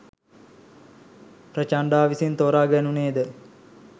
ප්‍රචණ්ඩා විසින් තෝරා ගැනුණේ ද